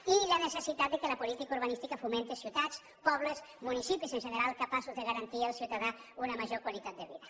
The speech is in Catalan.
i la necessitat que la política urbanística fomenti ciutats pobles municipis en general capaços de garantir al ciutadà una major qualitat de vida